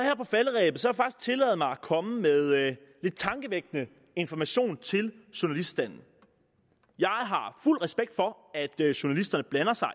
tillade mig at komme med lidt tankevækkende information til journaliststanden jeg har fuld respekt for at journalisterne blander sig